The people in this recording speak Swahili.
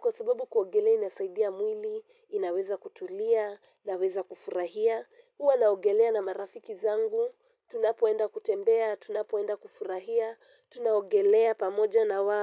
kwa sababu kuogelea inasaidia mwili, inaweza kutulia, inaweza kufurahia, huwa naogelea na marafiki zangu, tunapoenda kutembea, tunapoenda kufurahia, tunaogelea pamoja na wao.